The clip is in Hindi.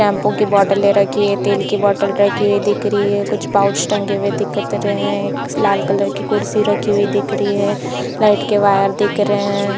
शैंपू की बॉटले रखी है तेल की बॉटल रखी हुई दिख रही है कुछ पाउच टंगे हुए दिखत रहे है लाल कलर की कुर्सी रखी हुई दिख रही है फ्लैट के बाहर दिख रहे है।